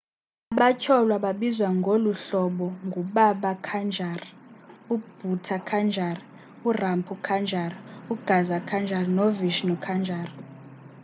abatyholwa babizwa ngoluhlobo ngu-baba kanjar u-bhutha kanjar u-rampro kanjar u-gaza kanjar no-vishnu kanjar